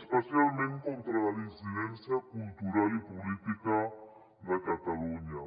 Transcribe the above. especialment contra la dissidència cultural i política de catalunya